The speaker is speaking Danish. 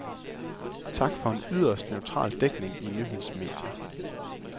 Tak, for en yderst neutral dækning i nyhedsmedier.